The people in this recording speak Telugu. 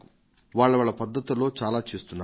వాళ్ల వాళ్ల పద్ధతుల్లో చాలా చేస్తున్నారు